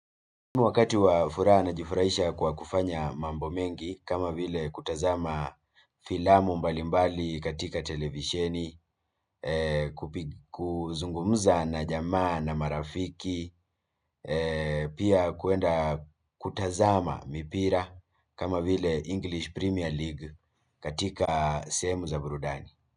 Wakati wa furaha najifurahisha kwa kufanya mambo mengi kama vile kutazama filamu mbalimbali katika televisheni, kuzungumuza na jamaa na marafiki, pia kwenda kutazama mipira kama vile English Premier League katika sehemu za burudani.